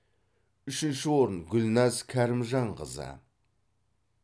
үшінші орын гүлназ кәрімжанқызы